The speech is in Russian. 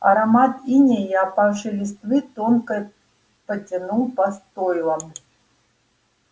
аромат инея и опавшей листвы тонко потянул по стойлам